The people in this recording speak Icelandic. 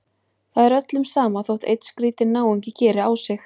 Það er öllum sama þótt einn skrýtinn náungi geri á sig.